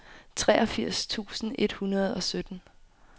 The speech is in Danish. treogfirs tusind et hundrede og sytten